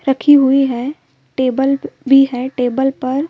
रखी हुई है। टेबल भी है। टेबल पर--